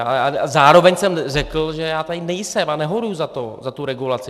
A zároveň jsem řekl, že já tady nejsem a nehoruji za tu regulaci.